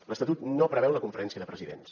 l’estatut no preveu la conferència de presidents